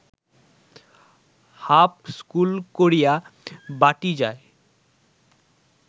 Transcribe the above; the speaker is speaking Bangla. হাপ স্কুল করিয়া বাটী যায়